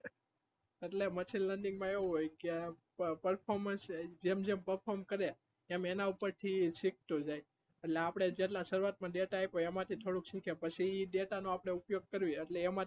એટલે machine learning મા એવું હોય કે performance જેમ જેમ perform કરીયે એમ એના પર થી શીખતો જાય એટલે આપડે જેટલા શરૂઆત મા data આયપો એમા થી થોડુંક સૂટે પછી data નોઆપડે ઉપયોગ કરીએ એટલે એમા